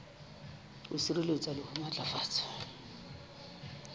ho sireletsa le ho matlafatsa